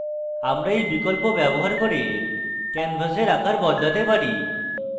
আমরা we বিকল্প ব্যবহার করে ক্যানভাসের আকার বদলাতে পারি